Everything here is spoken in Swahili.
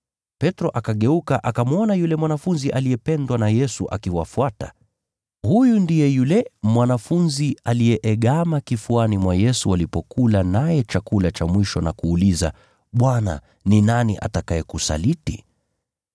Petro akageuka, akamwona yule mwanafunzi aliyependwa na Yesu akiwafuata. (Huyu ndiye yule mwanafunzi aliyeegama kifuani mwa Yesu walipokula naye chakula cha mwisho na kuuliza, “Bwana, ni nani atakayekusaliti?”)